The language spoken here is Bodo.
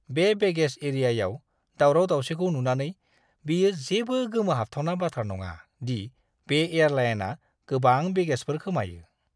बे बेगेज एरियायाव दावराव-दावसिखौ नुनानै, बेयो जेबो गोमोहाबथावना बाथ्रा नङा दि बे एयारलाइनआ गोबां बेगेजफोर खोमायो!